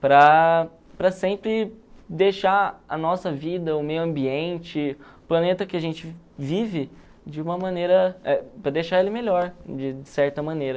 para para sempre deixar a nossa vida, o meio ambiente, o planeta que a gente vive, de uma maneira... eh para deixar ele melhor, de de certa maneira.